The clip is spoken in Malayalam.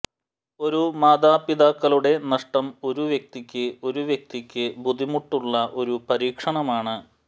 ഒരു മാതാപിതാക്കളുടെ നഷ്ടം ഒരു വ്യക്തിക്ക് ഒരു വ്യക്തിക്ക് ബുദ്ധിമുട്ടുള്ള ഒരു പരീക്ഷണമാണ്